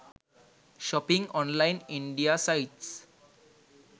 shopping online india sites